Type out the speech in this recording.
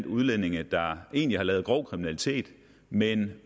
udlændinge der har lavet grov kriminalitet men